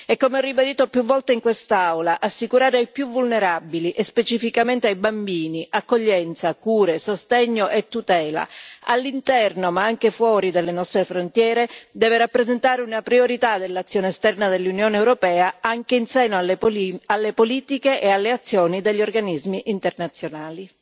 E come ho ribadito più volte in quest'Aula, assicurare ai più vulnerabili e specificamente ai bambini accoglienza, cure, sostegno e tutela all'interno ma anche fuori dalle nostre frontiere deve rappresentare una priorità dell'azione esterna dell'Unione europea anche in seno alle politiche e alle azioni degli organismi internazionali.